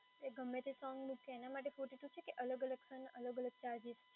એ ગમેતે સોંગ મૂકીએ એના માટે fourty two છે કે અલગ-અલગ સોંગના અલગ-અલગ ચાર્જીસ